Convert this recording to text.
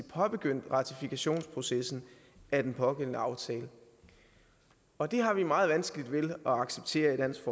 påbegyndt ratifikationsprocessen af den pågældende aftale og det har vi meget vanskeligt ved at acceptere i dansk